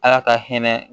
Ala ka hinɛ